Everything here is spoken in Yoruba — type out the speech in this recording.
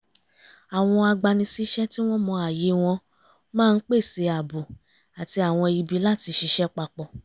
àwọn agbanisíṣẹ́ tí wọ́n mọ ààyè wọn máa ń pèsè ààbò àti àwọn ibi láti ṣiṣẹ́ papọ̀